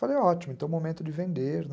Falei, ótimo, então é o momento de vender, né?